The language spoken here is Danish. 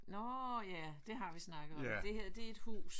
Nå ja det har vi snakket om det her det er et hus